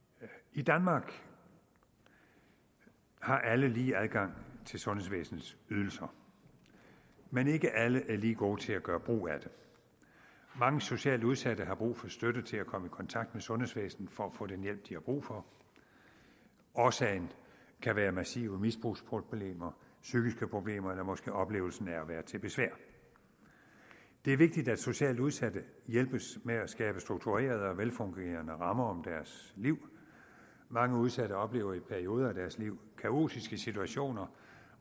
i danmark har alle lige adgang til sundhedsvæsenets ydelser men ikke alle er lige gode til at gøre brug af det mange socialt udsatte har brug for støtte til at komme i kontakt med sundhedsvæsenet for at få den hjælp de har brug for årsagen kan være massive misbrugsproblemer psykiske problemer eller måske oplevelsen af at være til besvær det er vigtigt at socialt udsatte hjælpes med at skabe strukturerede og velfungerende rammer om deres liv mange udsatte oplever i perioder af deres liv kaotiske situationer